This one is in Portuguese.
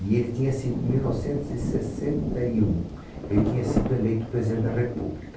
E ele tinha sido, mil novecentos e sessenta e um, ele tinha sido eleito presidente da República.